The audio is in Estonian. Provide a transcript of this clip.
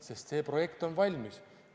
Sest see projekt on valmis.